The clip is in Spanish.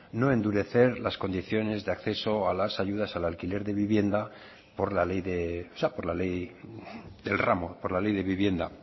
no endurecer las condiciones de acceso a las ayudas al alquiler de vivienda por la ley del ramo por la ley de vivienda